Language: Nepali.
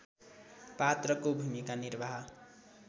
पात्रको भूमिका निर्वाह